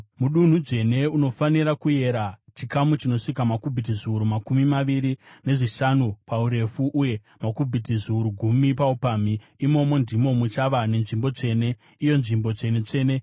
Mudunhu dzvene, unofanira kuyera chikamu chinosvika makubhiti zviuru makumi maviri nezvishanu paurefu uye makubhiti zviuru gumi paupamhi. Imomo ndimo muchava nenzvimbo tsvene, iyo Nzvimbo Tsvene-tsvene.